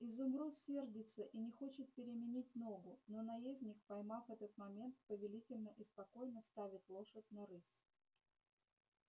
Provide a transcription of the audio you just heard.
изумруд сердится и не хочет переменить ногу но наездник поймав этот момент повелительно и спокойно ставит лошадь на рысь